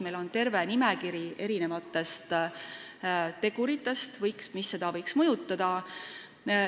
Meil on terve nimekiri teguritest, mis seda otsust võiksid mõjutada.